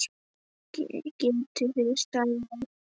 Geti þið staðið á því?